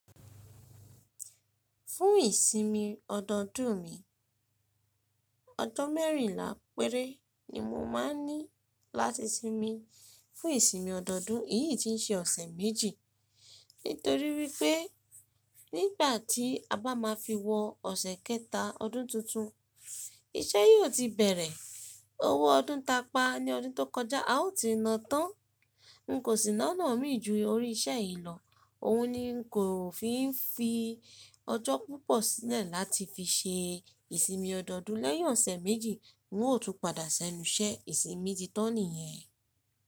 Fún ìsinmi ọdọọdún mi, ọjọ́ mẹ́rìnlá péré ni mo máa ń ní láti sinmi. Fún ìsinmi ọdọọdún, èyí ti ń ṣe ọ̀sẹ̀ méjì, nítorí wípẹ́ nígbà tí a bá máa fi wọ ọ̀sẹ̀ kẹta ọdún tuntun, iṣẹ́ yóò ti bẹ̀rẹ̀. Owó ọdún ta pa ní ọdún tó kọjá a ó ti nà tán. N kò sì nána mí ju orí iṣẹ́ yìí lọ. Òhun ni n kò fi ń fi ọjọ́ púpọ̀ sílẹ̀ láti fi ṣe ìsinmi ọdọọdún lẹ́yàn ọ̀sẹ̀ méjì. N ó tún padà sẹ́nu iṣẹ́ ìsinmi titọ́ nìyẹn.